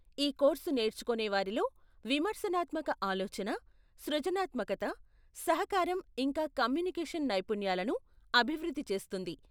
ఈ కోర్సు నేర్చుకొనేవారిలో విమర్శనాత్మక ఆలోచన, సృజనాత్మకత, సహకారం ఇంకా కమ్యూనికేషన్ నైపుణ్యాలను అభివృద్ధి చేస్తుంది.